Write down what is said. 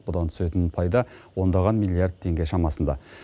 бұдан түсетін пайда ондаған миллиард теңге шамасында